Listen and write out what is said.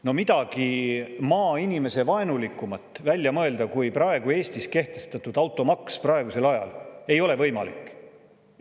No midagi maainimesevaenulikumat kui Eestis kehtestatud automaks praegusel ajal ei ole võimalik välja mõelda.